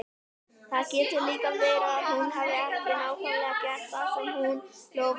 Það getur líka verið að hún hafi ekki nákvæmlega gert það sem hún lofaði mér.